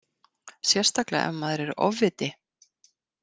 Sérstaklega ef maður er ofviti.